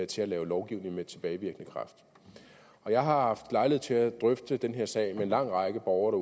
til at lave lovgivning med tilbagevirkende kraft jeg har haft lejlighed til at drøfte den her sag med en lang række borgere